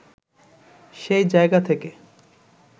সেই জায়গা থেকে